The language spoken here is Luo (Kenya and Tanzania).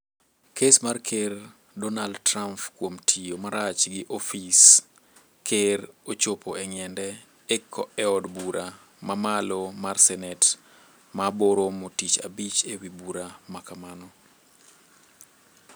Kes mar ker Dornald Trump kuom tiyo marach gi ofis ker ochopo e ngiende e od bura ma malo mar senet ma bo romo tich abich ewi bura makamano.